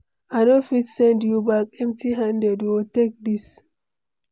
I no fit send you back empty-handed o, take this.